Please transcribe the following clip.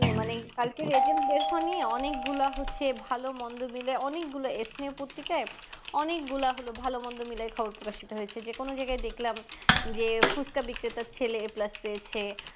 কালকের agent বের হওয়া নিয়ে অনেক গুলা হচ্ছে ভালো মন্দ নিয়ে অনেক গুলা ethnic পত্রিকায় অনেক গুলা হলো ভালো মন্দ মিলে খবর প্রকাশিত হয়েছে যে কোনো জায়গায় দেখলাম যে ফুচকা বিক্রেতার ছেলে aplus পেয়েছে